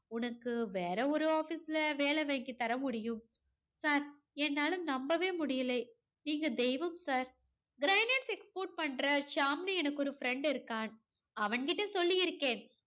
உனக்கு வேற ஒரு office ல வேலை வாங்கி தர முடியும் sir என்னால நம்பவே முடியலை. நீங்க தெய்வம் sir granite export பண்ற ஷியாமுன்னு எனக்கு ஒரு friend இருக்கான். அவன் கிட்ட சொல்லி இருக்கேன்.